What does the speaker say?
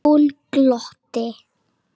Hún glotti.